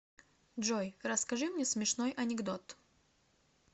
джой расскажи мне смешной анекдот